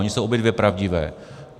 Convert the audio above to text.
Ony jsou obě dvě pravdivé.